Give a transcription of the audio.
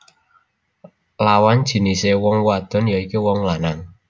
Lawan jinisé wong wadon ya iku wong lanang